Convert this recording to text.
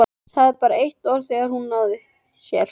Sagði bara eitt orð þegar hún náði sér.